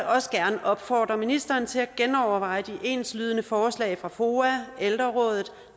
også gerne opfordre ministeren til at genoverveje de enslydende forslag fra foa ældreråd